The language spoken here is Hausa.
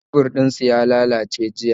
Kebur din sun lallace jiya